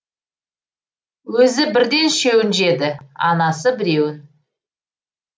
өзі бірден үшеуін жеді анасы біреуін